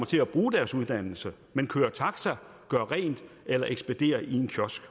til at bruge deres uddannelse men kører taxa gør rent eller ekspederer i en kiosk